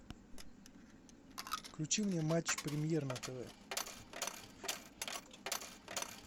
включи мне матч премьер на тв